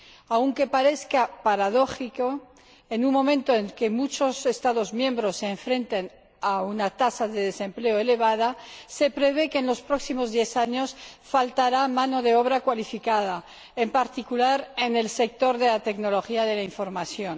Aunque parezca paradójico en un momento en que muchos Estados miembros se enfrentan a una tasa de desempleo elevada, se prevé que, en los próximos diez años, falte mano de obra cualificada, en particular en el sector de la tecnología de la información.